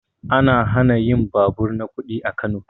An hana yin babur na kuɗi a Kano